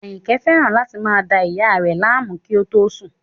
Àyìnkẹ́ fẹ́ràn láti máa da ìyá rẹ̀ láàmú kí ó tó sùn